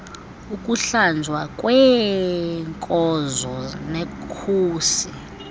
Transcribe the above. ukuhlanjwa kweeenkonzo nekhusi